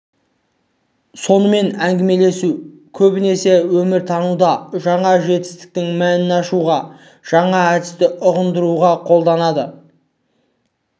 сонымен әңгімелесу көбінесе өміртануда жаңа жетістіктің мәнін ашуға жаңа әдісті ұғындыруға қолданылады